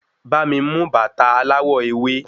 Bá mi mú bàta aláwọ̀ ewé